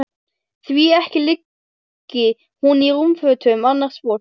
Því ekki liggi hún í rúmfötum annars fólks.